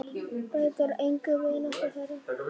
Breytti engu um vináttu þeirra.